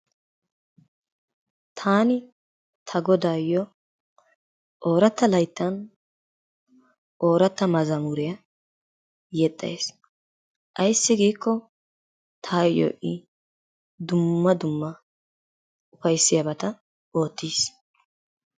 Taani ta godaayoo oorata layttan oorata mazamuriya yexxays ayssi giikko taayo I dumma dumma ufayssiyabata oottiis.